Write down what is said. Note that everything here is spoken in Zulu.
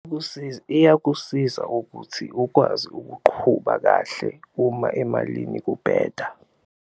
Iyakusiza ukuthi ukwazi ukuqhuba kahle uma emalini kubheda.